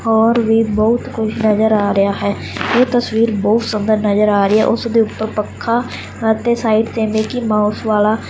ਔਰ ਵੀ ਬਹੁਤ ਕੁਝ ਨਜ਼ਰ ਆ ਰਿਹਾ ਹੈ ਇਹ ਤਸਵੀਰ ਬਹੁਤ ਸੁੰਦਰ ਨਜ਼ਰ ਆ ਰਹੀ ਐ ਉਸ ਦੇ ਉੱਪਰ ਪੱਖਾ ਅਤੇ ਸਾਈਡ ਤੇ ਮਿੱਕੀ ਮਾਊਸ ਵਾਲਾ--